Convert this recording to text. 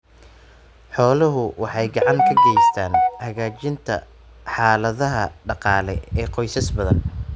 Xooluhu waxay gacan ka geystaan ??hagaajinta xaaladaha dhaqaale ee qoysas badan.